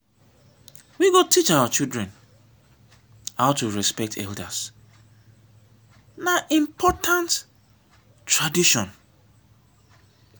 we go teach our children how to respect elders na important tradition.